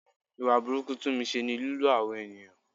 Ìwà burúkú Tunmise ni lílo àwọn ènìyàn.